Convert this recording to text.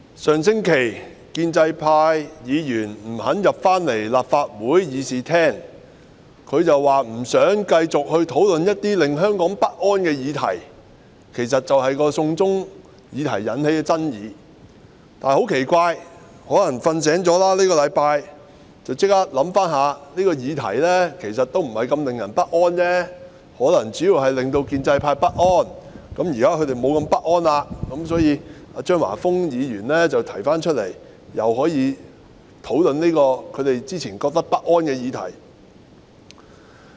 主席，建制派議員上星期不肯返回立法會議事廳，理由是不想繼續討論一些令香港不安的議題，亦即"送中"議題引起的爭議；但很奇怪，可能他們這星期睡醒了，便馬上想到這個議題其實也不是如此令人不安，可能主要只是令建制派不安，現在已沒那麼不安，所以，張華峰議員便提出討論這個之前令他們不安的議題。